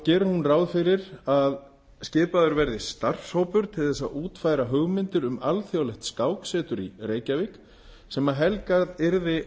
gerir hún ráð fyrir að skipaður verði starfshópur til þess að útfæra hugmyndir um alþjóðlegt skáksetur í reykjavík sem helgað yrði